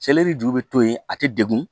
Seleri ju bɛ to yen a tɛ degun